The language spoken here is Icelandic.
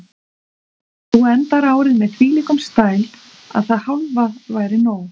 Þú endar árið með þvílíkum stæl að það hálfa væri nóg.